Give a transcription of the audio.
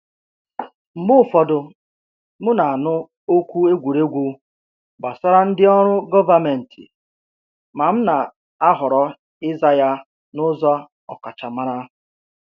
Mgbe ụfọdụ, m na-anụ okwu egwuregwu gbasara ndị ọrụ gọvanmentị, ma m na-ahọrọ ịza ya n’ụzọ ọkachamara.